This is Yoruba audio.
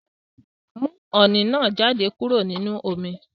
Mú oní náá jáde kúrò nínú omi